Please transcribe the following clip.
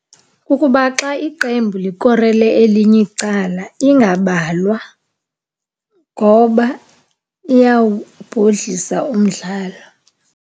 Kukuba xa iqembu likorele elinye icala ingabalwa ngoba iyawubhodlisa umdlalo.